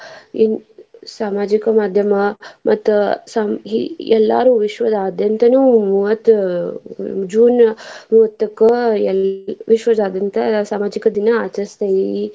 ಸಾಮಾಜಿಕ ಮಾದ್ಯಮ ಮತ್ತ್ ಸಂ~ ಇ~ ಎಲ್ಲಾರು ವಿಶ್ವದಾದ್ಯಂತನು ಮೂವತ್ತ್ June ಮೂವತ್ತಕ್ಕ ಎಲ್ಲ ವಿಶ್ವದಾದ್ಯಂತ ಸಾಮಾಜಿಕ ದಿನ ಆಚರಸ್ತೇವಿ